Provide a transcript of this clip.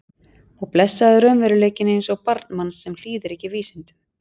Og blessaður raunveruleikinn eins og barn manns sem hlýðir ekki vísindum.